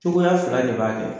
Cogoya fila de b'a kɛ.